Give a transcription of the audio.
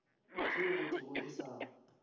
tšeo go thwego e sa